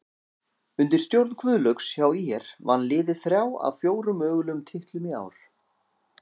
Undir stjórn Guðlaugs hjá ÍR vann liðið þrjá af fjóra mögulegum titlum í ár.